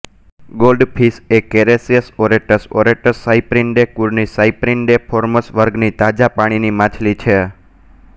goldfish એ Carassius auratus auratus Cyprinidae કુળની Cypriniformes વર્ગની તાજા પાણીની માછલી છે